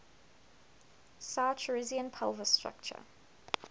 saurischian pelvis structure